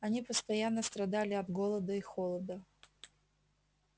они постоянно страдали от голода и холода